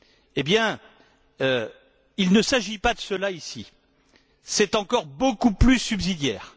Eh bien, il ne s'agit pas de cela ici. C'est encore beaucoup plus subsidiaire.